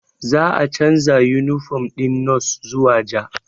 Za a canza yunifom ɗin nos zuwa ja